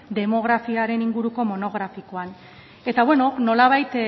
demografiaren inguruko monografikoan eta bueno nolabait